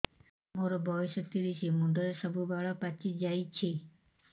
ମୋର ବୟସ ତିରିଶ ମୁଣ୍ଡରେ ସବୁ ବାଳ ପାଚିଯାଇଛି